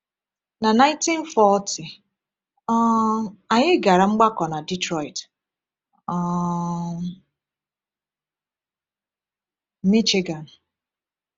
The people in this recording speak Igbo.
Na 1940, um anyị gara mgbakọ na Detroit, um Michigan.